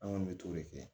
An kɔni bɛ t'o de kɛ